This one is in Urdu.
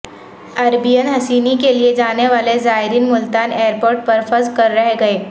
اربعین حسینی کے لئے جانے والے زائرین ملتان ایئر پورٹ پر پھنس کر رہ گئے